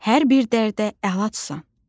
Hər bir dərdə əlacsan.